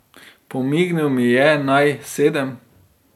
Pomignil mi je, naj sedem.